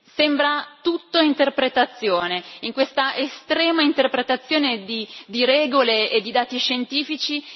Sembra tutto interpretazione in questa estrema interpretazione di regole e di dati scientifici.